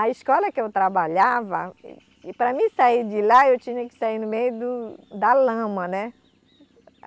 A escola que eu trabalhava, para mim sair de lá, eu tinha que sair no meio do da lama, né?